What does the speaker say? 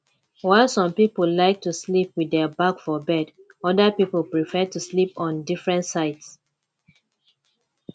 while some pipo like to sleep with their back for bed oda pipo prefer to sleep on different sides